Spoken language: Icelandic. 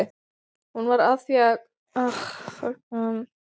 Hún var að því komin að kasta upp.